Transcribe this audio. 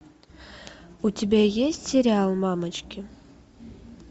у тебя есть сериал мамочки